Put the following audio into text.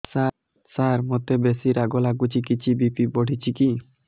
ସାର ମୋତେ ବେସି ରାଗ ଲାଗୁଚି କିଛି ବି.ପି ବଢ଼ିଚି କି